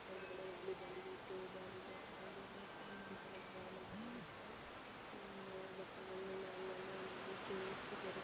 ಒಳಗಡೆ volleyball ಇದೆ throw ball ಇದೆ ಆಗೇನೇ ಇನ್ನೊಂದ್ ತರದ್ ಬಾಲ್ ಇದೆ ಬರುತ್ತೆ ಬಟ್ಟೆಗಳನ್ನೆಲ್ಲ ಅಲ್ಲಲ್ಲೇ ಅಲ್ಲಲ್ಲೇ ಜೋಡ್ಸಿದಾರೆ.